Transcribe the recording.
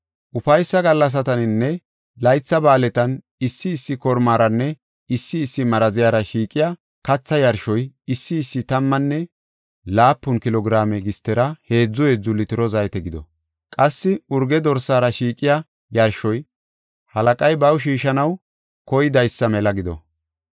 “Ufaysa gallasataninne laytha ba7aaletan issi issi kormaranne issi issi maraziyara shiiqiya katha yarshoy issi issi tammane laapun kilo giraame gistera heedzu heedzu litiro zaytera gido. Qassi urge dorsaara shiiqiya yarshoy halaqay baw shiishanaw koydaysa mela gido.